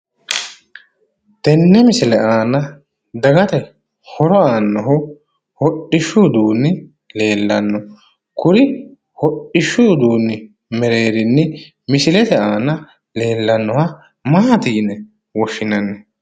Tenne misile aana dagate horo aannohu hodhishshu uduunni leellanno kuri hodhishshu uduunni mereerinni misilete aana leellannoha maati yine woshshinanni?